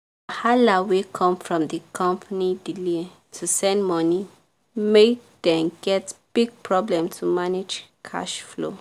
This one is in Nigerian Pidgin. hala wey come from the company delay to send money make dem get big problem to manage cash flow.